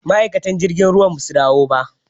Ma'aikatan jirgin ruwan ba zasu dawo ba